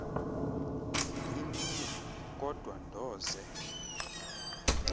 imini kodwa ndoze